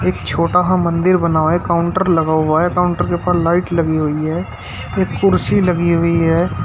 एक छोटा सा मंदिर बना हुआ है एक काउंटर लगा हुआ है काउंटर के ऊपर लाइट लगी हुई है एक कुर्सी लगी हुई है।